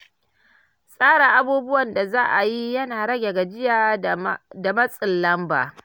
Tsara abubuwan da za a yi yana rage gajiya da matsin lamba.